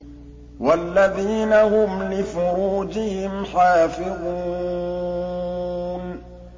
وَالَّذِينَ هُمْ لِفُرُوجِهِمْ حَافِظُونَ